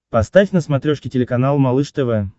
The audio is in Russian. поставь на смотрешке телеканал малыш тв